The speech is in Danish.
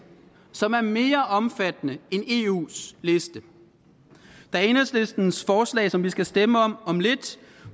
som er mere omfattende end eus liste da enhedslistens forslag som vi skal stemme om om lidt